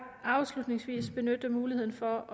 afslutningsvis benytte muligheden for